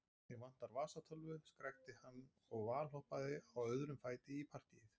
Mig vantar vasatölvu, skrækti hann og valhoppaði á öðrum fæti í partýið.